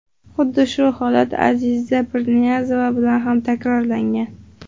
Xuddi shu holat Aziza Pirniyazova bilan ham takrorlangan.